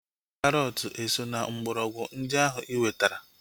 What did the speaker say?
Karọt eso na mgbọrọgwụ ndị ahu iwetara?